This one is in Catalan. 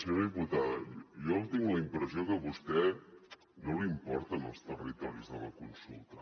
senyora diputada jo tinc la impressió que a vostè no li importen els territoris de la consulta